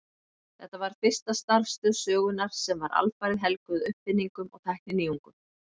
Þetta var fyrsta starfstöð sögunnar sem var alfarið helguð uppfinningum og tækninýjungum.